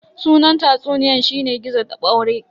Sunan tatsuniyan shine "Gizo da ɓaure"